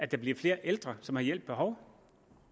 der bliver flere ældre som har hjælp behov